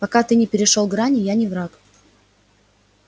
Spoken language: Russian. пока ты не перешёл грани я не враг